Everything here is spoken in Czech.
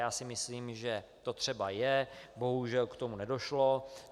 Já si myslím, že to třeba je, bohužel k tomu nedošlo.